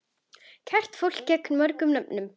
Kært fólk gegnir mörgum nöfnum.